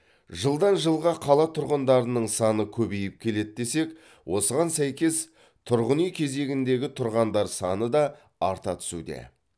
жылдан жылға қала тұрғындарының саны көбейіп келеді десек осыған сәйкес тұрғын үй кезегіндегі тұрғандар саны да арта түсуде